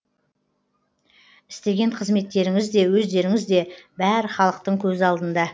істеген қызметтеріңіз де өздеріңіз де бәрі халықтың көз алдында